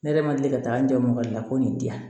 Ne yɛrɛ ma deli ka taa n jɔ la ko nin di yan